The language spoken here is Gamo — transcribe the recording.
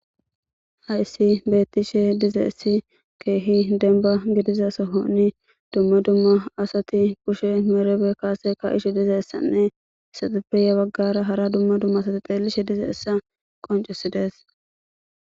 hayssi beettishe dize issi keehi denba gidiza sohonni dumma dumma asati pushe meerebe kaase ka ishi dizeessanne issateppeya baggara hara dumma dumma asati xeelishe dizayssa qoncesidees